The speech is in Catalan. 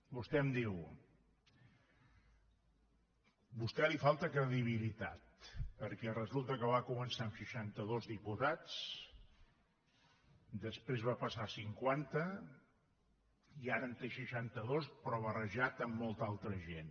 vostè em diu a vostè li falta credibilitat perquè resulta que va començar amb seixantados diputats després va passar a cinquanta i ara en té seixantados però barrejat amb molta altra gent